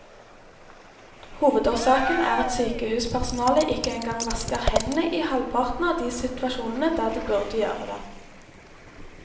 Hovedårsaken er at sykehuspersonalet ikke engang vasker hendene i halvparten av de situasjonene der de burde gjøre det.